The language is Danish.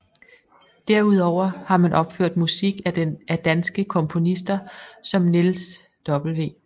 Derudover har man opført musik af danske komponister som Niels W